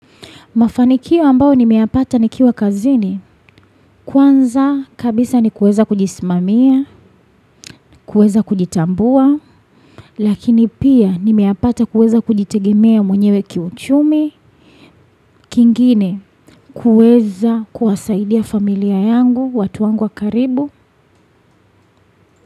Mafanikio ambao nimeyapata nikiwa kazini, kwanza kabisa ni kuweza kujismamia, kuweza kujitambua, lakini pia nimeyapata kuweza kujitegemea mwenyewe kiuchumi, kingine kuweza kuwasaidia familia yangu, watu wangu wa karibu.